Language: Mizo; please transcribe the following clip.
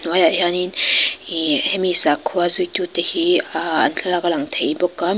hnuaiah hianin ih hemi sakhua zuitu te hi ah an thlalak a lang thei bawk a mi--